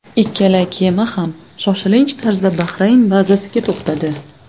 Ikkala kema ham shoshilinch tarzda Bahrayn bazasiga to‘xtadi.